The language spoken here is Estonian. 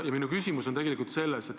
Ja minu küsimus on selline.